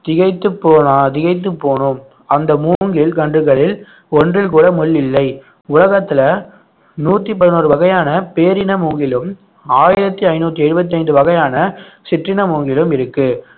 திகைத்துப் போனா~ திகைத்துப் போனோம் அந்த மூங்கில் கண்டுகளில் ஒன்றில் கூட முள் இல்லை உலகத்துல நூத்தி பதினொரு வகையான பேரின மூங்கிலும் ஆயிரத்தி ஐந்நூத்தி எழுபத்தி ஐந்து வகையான சிற்றின மூங்கிலும் இருக்கு